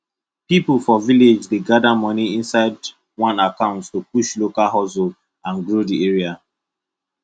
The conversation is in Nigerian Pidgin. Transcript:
people for village dey gather money inside one account to push local hustle and grow the area